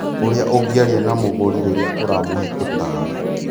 Ũrĩa ũngĩaria na mũgũri rĩrĩa ũramũhe ũtaaro.